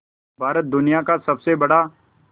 भारत दुनिया का सबसे बड़ा